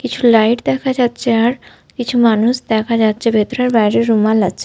কিছু লাইট দেখা যাচ্ছে আর কিছু মানুষ দেখা যাচ্ছে ভেতরে। আর বাইরে রুমাল আছে।